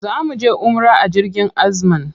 Za mu je umra a jirgin Azman.